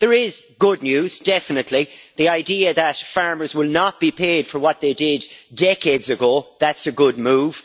There is good news definitely, the idea that farmers will not be paid for what they did decades ago that's a good move.